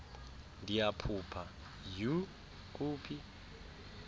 ndiyaphupha iyhu kuphi